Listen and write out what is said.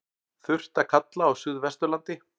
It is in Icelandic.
Þurrt að kalla á suðvesturlandi